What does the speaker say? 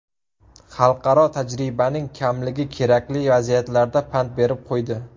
Xalqaro tajribaning kamligi kerakli vaziyatlarda pand berib qo‘ydi.